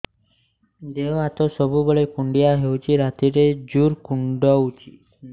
ଦେହ ହାତ ସବୁବେଳେ କୁଣ୍ଡିଆ ହଉଚି ରାତିରେ ଜୁର୍ କୁଣ୍ଡଉଚି